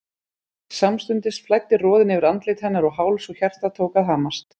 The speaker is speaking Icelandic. Samstundis flæddi roðinn yfir andlit hennar og háls og hjartað tók að hamast.